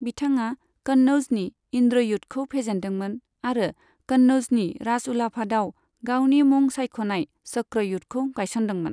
बिथाङा कन्नौजनि इन्द्रयुधखौ फेजेनदोंमोन आरो कन्नौजनि राजउलाफादाव गावनि मुं सायख'नाय चक्रयुधखौ गायसनदोंमोन।